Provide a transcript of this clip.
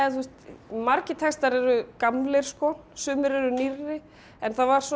margir textar eru gamlir sumir eru nýrri en það var svolítið